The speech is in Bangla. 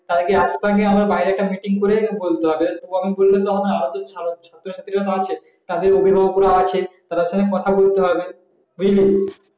তাদেরকে একতা নিয়ে আমাদের বাইরে একটা meeting করে বলতে হবে তখন বললে তো হবে নাআরো ছাত্র ছাত্রী রা আছে তাদের অভিভাবক গুলো আছে তাদের সাথে কথা বলতে হবে